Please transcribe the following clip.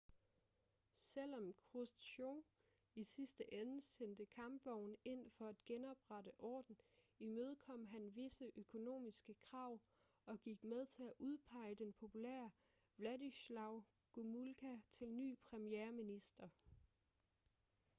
selvom khrusjtjov i sidste ende sendte kampvogne ind for at genoprette orden imødekom han visse økonomiske krav og gik med til at udpege den populære wladyslaw gomulka til ny premierminister